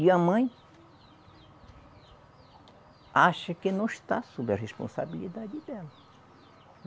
E a mãe acha que não está sob a responsabilidade dela.